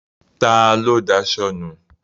Ta ló daṣọ nu?